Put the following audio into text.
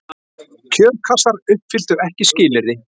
Kjörkassar uppfylltu ekki skilyrði